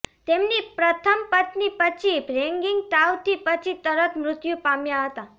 તેમની પ્રથમ પત્ની પછી રેગિંગ તાવ થી પછી તરત મૃત્યુ પામ્યા હતા